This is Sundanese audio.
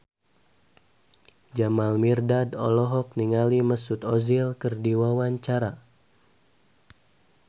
Jamal Mirdad olohok ningali Mesut Ozil keur diwawancara